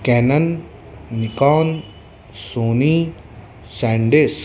cannon Nikon Sony SanDisk --